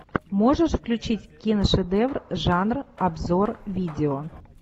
можешь включить киношедевр жанра обзор видео